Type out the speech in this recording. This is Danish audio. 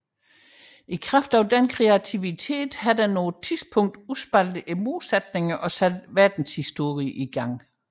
I kraft af denne kreativitet har den på et tidspunkt udspaltet modsætningerne og sat verdenshistorien i gang